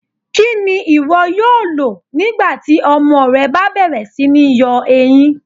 Kíni iwó̩ yóò lọ̀ nígbàtí ọmọ rẹ̀ bá bẹ̀rẹ̀ sí ní yọ èyíń?